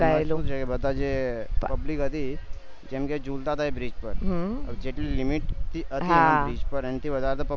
એમાં શું છે બધા public હતી કેમ કે જુલતા હતા ઈ bridge પર જેટલું limit હતી bridge ઉપર એનાથી વધારે public